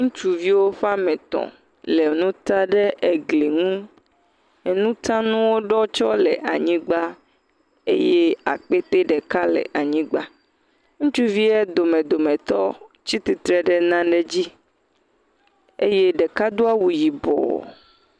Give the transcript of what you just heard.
Ŋutsuviwo ƒeametɔ̃ le nu ta ɖe egli ŋu, enu ta nuɔ ɖɔwo tse le anyigba eye akpete ɖeka le anyigba, ŋutsuvie dome dometɔ tsitsitre ɖe nane dzi eye ɖeka do awu yibɔ.